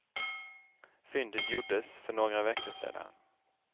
Fyndet gjordes för några veckor sedan.